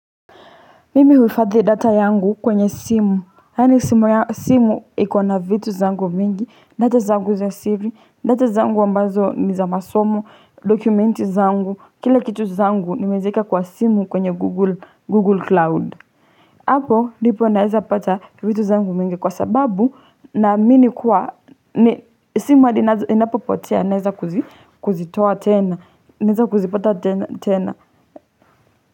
Mimi huifadhi data yangu kwenye simu. Hani simu ya simu iko na vitu zangu mingi, data zangu za CV, data zangu wambazo ni za masomo, dokumenti zangu, kila kitu zangu nimezeka kwa simu kwenye Google Cloud. Hapo, nipo naeza pata vitu zangu mingi kwa sababu naamini kuwa ni simu hadi inapopotea naeza kuzitoa tena, naeza kuzipata tena.